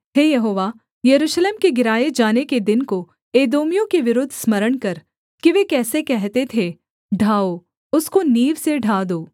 हे यहोवा यरूशलेम के गिराए जाने के दिन को एदोमियों के विरुद्ध स्मरण कर कि वे कैसे कहते थे ढाओ उसको नींव से ढा दो